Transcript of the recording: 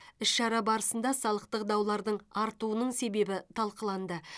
іс шара барысында салықтық даулардың артуының себебі талқыланды